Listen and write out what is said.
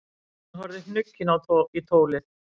Hann horfði hnugginn í tólið.